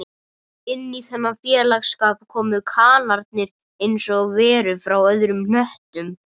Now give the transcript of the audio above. Inní þennan félagsskap komu kanarnir einsog verur frá öðrum hnöttum